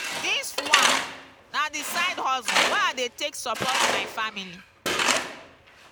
dis one na di side hustle wey i dey take support my family.